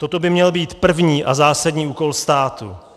Toto by měl být první a zásadní úkol státu.